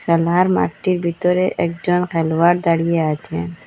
খেলার মাঠটির ভিতরে একজন খেলোয়ার দাঁড়িয়ে আছে।